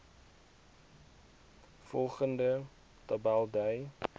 volgende tabel dui